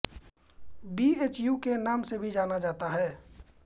B H U के नाम से भी जाना जाता है